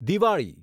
Diwali